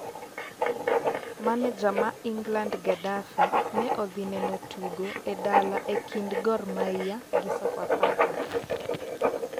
Maneja ma Ingland Gadafi ne odhi neno tugo e dala e kind gor magia gi Sofapaka